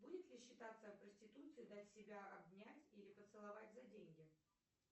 будет ли считаться проституцией дать себя обнять или поцеловать за деньги